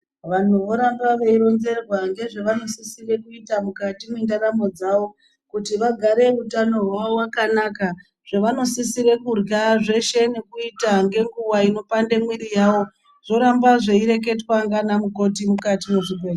Vanhu voramba veironzerwa ngezvavanosisire kuita mukati mwendaramo dzavo kuti vagare utano hwavo wakanaka, zvavanosisire kurya zveshe ngenguwa inopande mwiri yavo, zvoramba zveireketwa ngana mukoti mukati mwezvibhe.